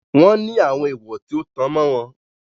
Wọ́n ní àwọn èèwọ̀ tí a tan mọ́ wọn.